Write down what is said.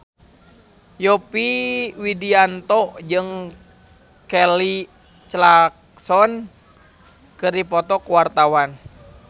Yovie Widianto jeung Kelly Clarkson keur dipoto ku wartawan